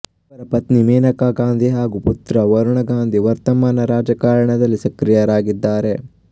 ಇವರ ಪತ್ನಿ ಮನೇಕಾ ಗಾಂಧಿ ಹಾಗೂ ಪುತ್ರ ವರುಣ ಗಾಂಧಿ ವರ್ತಮಾನ ರಾಜಕಾರಣದಲ್ಲಿ ಸಕ್ರಿಯರಾಗಿದ್ದಾರೆ